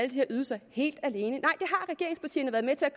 de her ydelser helt alene